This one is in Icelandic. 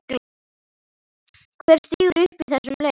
Hver stígur upp í þessum leik?